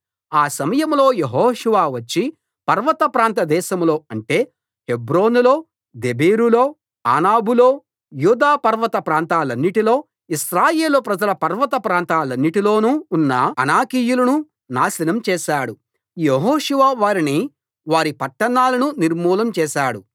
ఆ సమయంలో యెహోషువ వచ్చి పర్వత ప్రాంత దేశంలో అంటే హెబ్రోనులో దెబీరులో అనాబులో యూదా పర్వత ప్రాంతాలన్నిటిలో ఇశ్రాయేలు ప్రజల పర్వత ప్రాంతాలన్నిటిలోనూ ఉన్న అనాకీయులను నాశనం చేశాడు యెహోషువ వారిని వారి పట్టణాలనూ నిర్మూలం చేశాడు